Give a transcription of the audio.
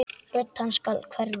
Rödd hans skal hverfa.